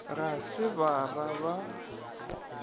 ga se ba ra ba